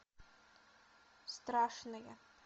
страшные